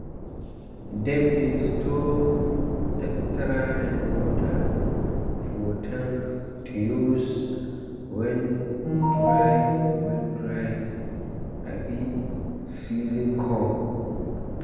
dem dey store extra rainwater for tank to use when dry when dry um season come.